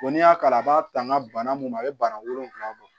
n'i y'a kalan a b'a taa n ka bana mun a bɛ bana wolonfilaw bɔ